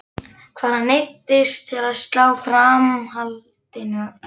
Hann neyddist til að slá framhaldinu á frest.